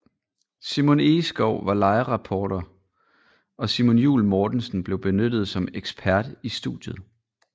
Simon Egeskov var livereporter og Simon Juul Mortensen blev benyttet som ekspert i studiet